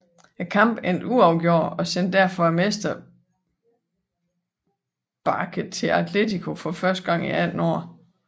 Kampen endte uafgjort og sendte derfor mestersbaket til Atletico for første gang i 18 år